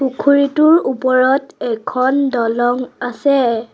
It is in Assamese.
পুখুৰীটোৰ ওপৰত এখন দলং আছে।